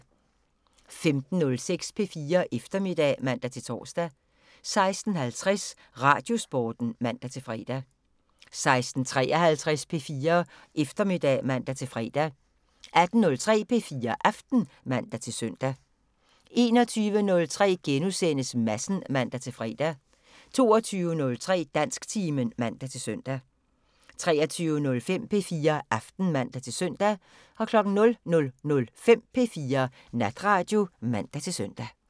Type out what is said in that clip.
15:06: P4 Eftermiddag (man-tor) 16:50: Radiosporten (man-fre) 16:53: P4 Eftermiddag (man-fre) 18:03: P4 Aften (man-søn) 21:03: Madsen *(man-fre) 22:03: Dansktimen (man-søn) 23:05: P4 Aften (man-søn) 00:05: P4 Natradio (man-søn)